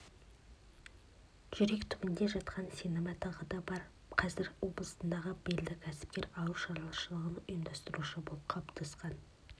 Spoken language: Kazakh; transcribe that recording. жүрек түбінде жатқан сенімі тағы бар қазір облыстағы белді кәсіпкер ауыл шаруашылығын ұйымдастырушы болып қалыптасқан